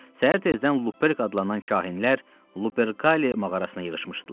Səhər tezdən Luperk adlanan kahinlər Luperkali mağarasına yığışmışdılar.